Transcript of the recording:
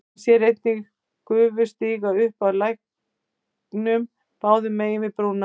Hann sér einnig gufu stíga upp af læknum báðum megin við brúna.